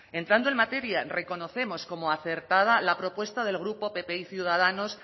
entrando en materia reconocemos como acertada la propuesta del grupo pp y ciudadanos